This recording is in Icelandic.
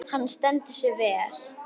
Hann stendur sig vel.